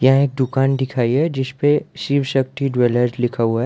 ने दुकान दिखाई है जिस पे शिव शक्ति ज्वेलर्स लिखा हुआ है।